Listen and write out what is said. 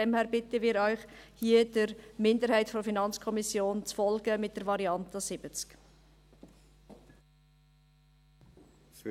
Deshalb bitten wir Sie, hier der Minderheit der FiKo zu folgen, mit der Variante 70 Prozent.